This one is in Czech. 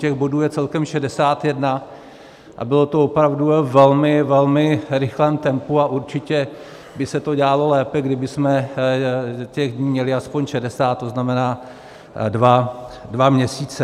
Těch bodů je celkem 61 a bylo to opravdu ve velmi, velmi rychlém tempu a určitě by se to dělalo lépe, kdybychom těch dní měli aspoň 60, to znamená dva měsíce.